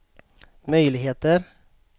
möjligheter